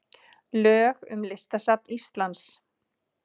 Lög um Listasafn Íslands.